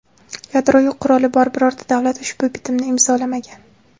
Yadroviy quroli bor birorta davlat ushbu bitimni imzolamagan.